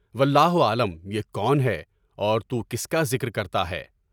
واللہ اعلم، یہ کون ہے اور تُو کس کا ذکر کرتا ہے؟